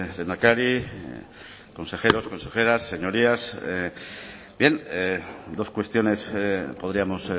lehendakari consejeros consejeras señorías bien dos cuestiones podríamos